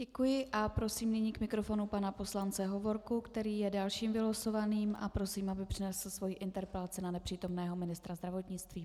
Děkuji a prosím nyní k mikrofonu pana poslance Hovorku, který je dalším vylosovaným, a prosím, aby přednesl svou interpelaci na nepřítomného ministra zdravotnictví.